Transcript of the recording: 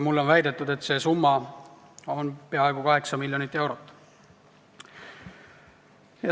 Mulle on väidetud, et asjaomane summa on peaaegu 8 miljonit eurot.